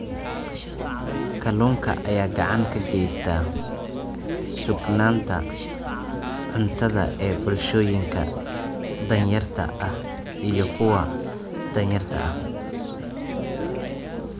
Kalluunka ayaa gacan ka geysta sugnaanta cuntada ee bulshooyinka danyarta ah iyo kuwa danyarta ah.